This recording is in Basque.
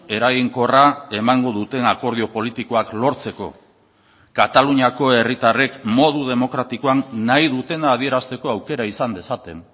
eraginkorra emango duten akordio politikoak lortzeko kataluniako herritarrek modu demokratikoan nahi dutena adierazteko aukera izan dezaten